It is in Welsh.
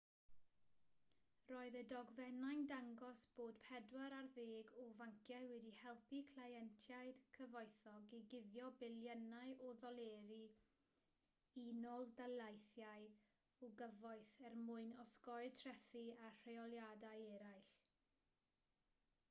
roedd y dogfennau'n dangos bod pedwar ar ddeg o fanciau wedi helpu cleientiaid cyfoethog i guddio biliynau o ddoleri'r u.d. o gyfoeth er mwyn osgoi trethi a rheoliadau eraill